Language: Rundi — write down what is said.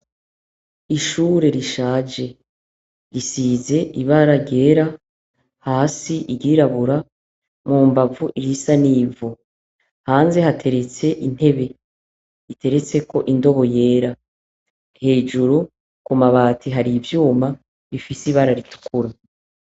Ishure rishaje, isize ibara ryera hasi iryirabura, mu mbavu risa n'ivu. Hanze hateretse intebe, iteretseko indobo yera. Hejuru ku mabati hari ivyuma bifise ibara ritukura.